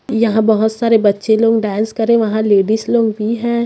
यहाँ बहोत सारे बच्चे लोग डांस कर रहे है वहाँ लेडिस लोग भी है।